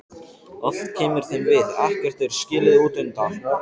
Allt kemur þeim við, ekkert er skilið útundan.